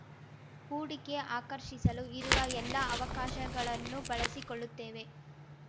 ಹೂಡಿಕೆ ಆಕರ್ಷಿಸಲು ಇರುವ ಎಲ್ಲ ಅವಕಾಶಗಳನ್ನೂ ಬಳಸಿಕೊಳ್ಳುತ್ತೇವೆ